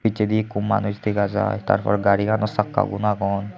pichendi ekku manuj dega jaai tar por garigani sakka gun agon.